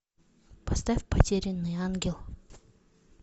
поставь потерянный ангел